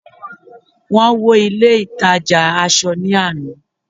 wón wo ilé ìtajà asọ ni Ana